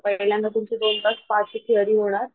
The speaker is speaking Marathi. तर पहिल्यांदा दोन तास स्पा ची थेरी होणार.